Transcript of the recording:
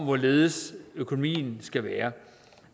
hvorledes økonomien skal være